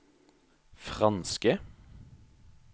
franske